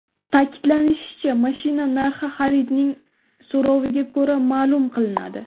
Ta’kidlanishicha, mashina narxi xaridorning so‘roviga ko‘ra, ma’lum qilinadi.